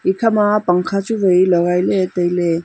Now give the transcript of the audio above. ekhama pangkha chu wai lagai taile.